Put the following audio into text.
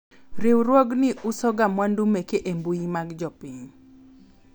riwruogni uso ga mwandu meke e mbui mar jopiny